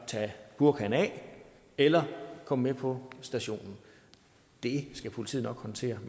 tage burkaen af eller komme med på stationen det skal politiet nok håndtere